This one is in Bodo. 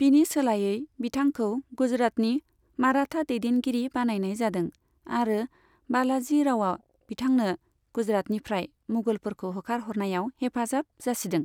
बिनि सोलायै, बिथांखौ गुजरातनि माराथा दैदेनगिरि बानायनाय जादों, आरो बालाजि रावआ बिथांनो गुजरातनिफ्राय मुगलफोरखौ होखारहरनायाव हेफाजाब जासिदों।